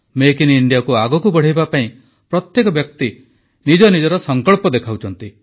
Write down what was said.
make in ଇଣ୍ଡିଆକୁ ଆଗକୁ ବଢ଼ାଇବା ପାଇଁ ପ୍ରତ୍ୟେକ ବ୍ୟକ୍ତି ନିଜ ନିଜର ସଂକଳ୍ପ ଦେଖାଉଛନ୍ତି